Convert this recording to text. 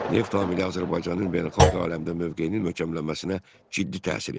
Neft amili Azərbaycanın beynəlxalq aləmdə mövqeyinin möhkəmlənməsinə ciddi təsir etdi.